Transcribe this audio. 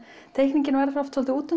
teikningin verður oft svolítið